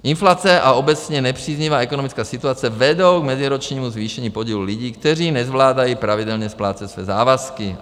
Inflace a obecně nepříznivá ekonomická situace vedou k meziročnímu zvýšení podílu lidí, kteří nezvládají pravidelně splácet své závazky.